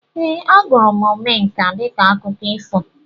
Ee, ahụrụ m Omenka dịka akụkọ ifo